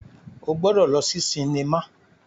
O gbọdọ lọ si sinima